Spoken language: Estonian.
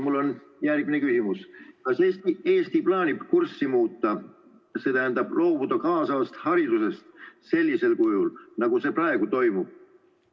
Mul on järgmine küsimus: Kas Eesti plaanib kurssi muuta, st loobuda kaasavast haridusest sellisel kujul, nagu see praegu toimub?